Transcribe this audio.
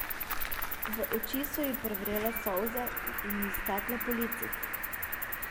V oči so ji privrele solze in ji stekle po licih.